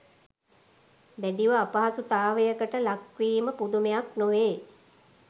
දැඩිව අපහසුතාවයකට ලක්වීම පුදුමයක් නොවේ